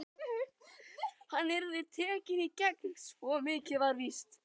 Hann yrði tekinn í gegn, svo mikið var víst.